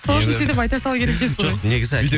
сол үшін сөйтіп айта салу керек те сол жоқ негізі әлде